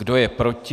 Kdo je proti?